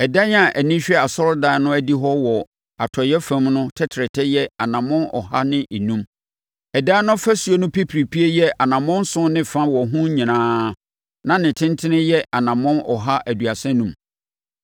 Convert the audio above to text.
Ɛdan a ani hwɛ asɔredan no adihɔ wɔ atɔeɛ fam no tɛtrɛtɛ yɛ anammɔn ɔha ne enum. Ɛdan no ɔfasuo no pipiripie yɛ anammɔn nson ne fa wɔ ho nyinaa na ne tentene yɛ anammɔn ɔha aduasa enum.